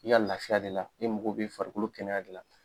I y'a lafiya de la i mako bɛ farikolo kɛnɛya de la.